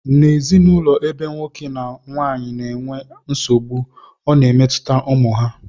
N' ezinụlọ ebe nwoke na nwaanyị na-enwe nsogbu ọ na-emetụta ụmụ ha